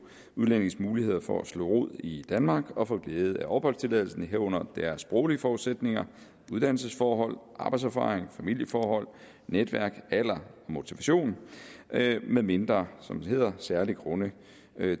udlændinges muligheder for at slå rod i danmark og få glæde af opholdstilladelsen herunder deres sproglige forudsætninger uddannelsesforhold arbejdserfaring familieforhold netværk alder og motivation medmindre som det hedder særlige grunde